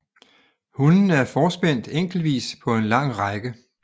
Hundene er forspændt enkeltvis på en lang række